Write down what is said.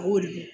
A y'o de kɛ